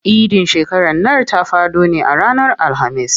Idin shekaran nan ta faɗo ne a ranar Alhamis.